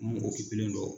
Mun kilennen don